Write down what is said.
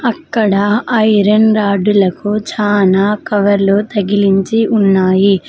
అక్కడ ఐరన్ రాడ్డులకు చాలా కవర్లు తగిలించి ఉన్నాయి.